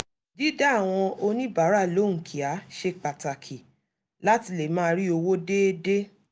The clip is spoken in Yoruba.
dídá àwọn oníbàárà lóhùn kíá ṣe pàtàkì láti lè máa rí owó déédéé